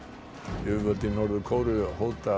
yfirvöld í Norður Kóreu hóta að